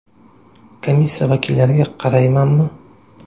Komissiya vakillariga qaraymanmi?